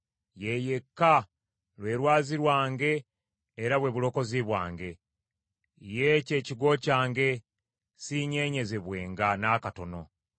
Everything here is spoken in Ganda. Ye yekka, lwe lwazi lwange era bwe bulokozi bwange; ye kye kigo kyange siinyeenyezebwenga n’akatono.